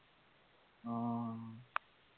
অ